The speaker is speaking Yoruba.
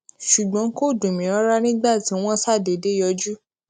ṣùgbón kò dùn mí rárá nígbà tí wón ṣàdédé yọjú